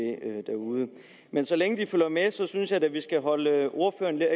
derude men så længe de følger med synes jeg da at vi skal holde ordføreren lidt